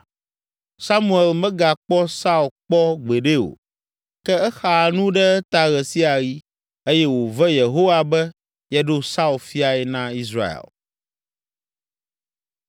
Samuel megakpɔ Saul kpɔ gbeɖe o, ke exaa nu ɖe eta ɣe sia ɣi, eye wòve Yehowa be yeɖo Saul fiae na Israel.